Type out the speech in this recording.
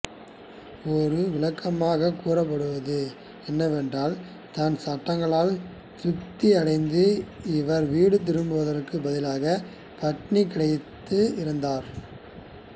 ஒரு விளக்கமாக கூறப்படுவது என்னவென்றால் தன் சட்டங்களால் திருப்தி அடைந்த இவர் வீடு திரும்புவதற்குப் பதிலாக பட்டினிகிடந்து இறந்தார்